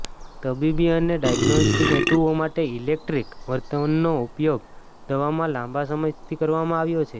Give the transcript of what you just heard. તબીબી અને ડાયગ્નોસ્ટિક હેતુઓ માટે ઇલેક્ટ્રિક વર્તમાનનો ઉપયોગ દવામાં લાંબા સમયથી કરવામાં આવ્યો છે